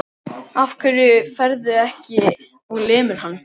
Af hverju ferðu ekki og lemur hann?